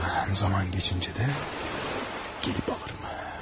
Aradan zaman keçincə də gəlib alırım.